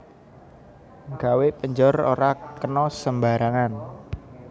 Gawe penjor ora kena sembarangan